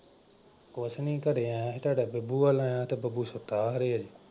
ਕੁਛ ਨਈਂ ਘਰੇ ਆਇਆਂ ਸੀ ਤੁਹਾਡਾ ਬੱਬੂ ਵੱਲ ਆਇਆਂ ਤੇ ਬੱਬੂ ਸੁੱਤਾ ਹਜੇ।